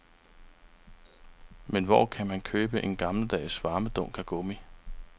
Men hvor kan man købe en gammeldags varmedunk af gummi?